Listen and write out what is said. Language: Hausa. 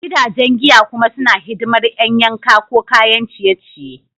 Gidajen giya kuma suna hidimar ƴan yanka ko kayan ciye-ciye.